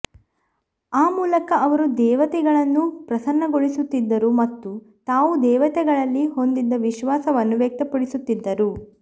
ಆ ಮೂಲಕ ಅವರು ದೇವತೆಗಳನ್ನು ಪ್ರಸನ್ನಗೊಳಿಸುತ್ತಿದ್ದರು ಮತ್ತು ತಾವು ದೇವತೆಗಳಲ್ಲಿ ಹೊಂದಿದ್ದ ವಿಶ್ವಾಸವನ್ನು ವ್ಯಕ್ತಪಡಿಸುತ್ತಿದ್ದರು